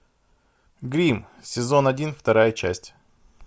гримм сезон один вторая часть